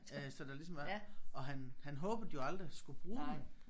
Så der ligesom er og han han håbede de jo aldrig skulle bruge den